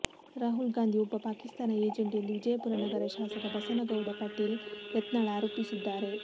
ರಾಹುಲ್ ಗಾಂಧಿ ಒಬ್ಬ ಪಾಕಿಸ್ತಾನ ಏಜೆಂಟ್ ಎಂದು ವಿಜಯಪುರ ನಗರ ಶಾಸಕ ಬಸನಗೌಡ ಪಾಟೀಲ ಯತ್ನಾಳ ಆರೋಪಿಸಿದ್ದಾರೆ